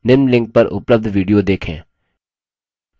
निम्न link पर उपलब्ध video देखें